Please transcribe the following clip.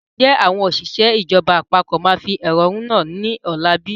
Ǹjẹ́ àwọn òṣìṣẹ́ ìjọba àpapọ̀ máa fi ẹhónú hàn ni ọ̀la bí?